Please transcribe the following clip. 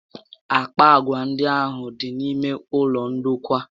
Àkpà agwà ndị ahụ dị n'ime ụlọ ndokwa